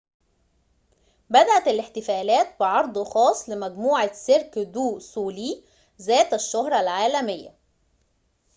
بدأت الاحتفالات بعرض خاص لمجموعة سيرك دو سوليه ذات الشهرة العالمية